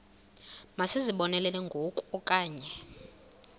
masizibonelele ngoku okanye